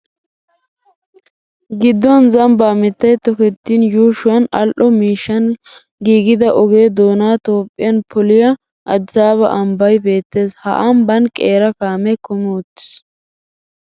Gidduwan zambaa mittay tokettin yuushuwan al"o miishshan giigida oge doona xomppiyan phooliya Addisaaba ambbay beettees. Ha ambban qeera kaamee kumi uttiis.